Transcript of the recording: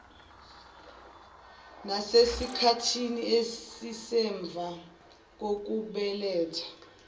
nasesikhathini esisemva kokubeletha